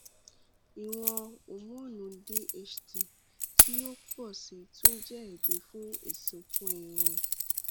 iwọn homonu dht ti o pọ si tun jẹ ẹbi fun isunkun irun